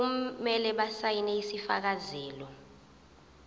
kumele basayine isifakazelo